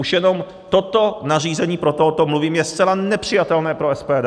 Už jenom toto nařízení - proto o tom mluvím - je zcela nepřijatelné pro SPD!